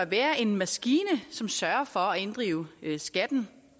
være en maskine som sørger for at inddrive skatten